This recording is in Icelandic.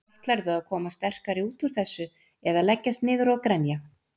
Ætlarðu að koma sterkari út úr þessu eða leggjast niður og grenja?